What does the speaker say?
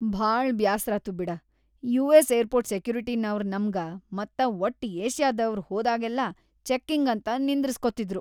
ಭಾಳ ಬ್ಯಾಸ್ರಾತು ಬಿಡ.. ಯು.ಎಸ್.‌ ಏರ್ಪೊರ್ಟ್‌ ಸೆಕ್ಯುರಿಟಿಯವ್ರ್ ನಮ್ಗ ಮತ್ತ ವಟ್ಟ್‌ ಏಷ್ಯಾದವ್ರ್ ಹೋದಾಗೆಲ್ಲಾ ಚೆಕ್ಕಿಂಗ್‌ ಅಂತ ನಿಂದ್ರಸ್ಕೊತಿದ್ರು.